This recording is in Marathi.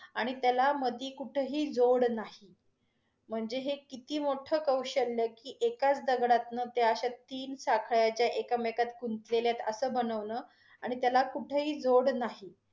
आणि त्याला मधी कुठेही जोड नाही, म्हणजे हे किती मोठं कौशल्य, की एकाच दगडातन त्या अश्या तीन साखळ्याच्या एकमेकात गुंतलेल्यात अस बनवन आणि त्याला कुठेही जोड नाही.